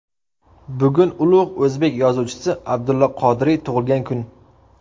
Bugun ulug‘ o‘zbek yozuvchisi Abdulla Qodiriy tug‘ilgan kun.